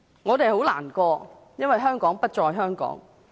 我們很難過，因為香港將不再是香港。